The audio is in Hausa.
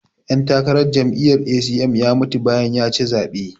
ɗantakarar jami'yar A.c.m ya mutu bayan ya ci zaɓe